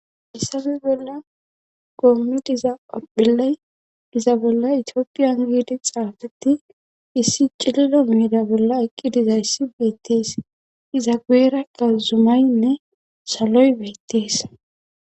Haysa misila bolla goommidiza orphiley iza bolla itiopiyan giidi xaafetti issi cillo miida bolla eqqidizayssi beettees iza gueerakka zumaynne saloy beyttees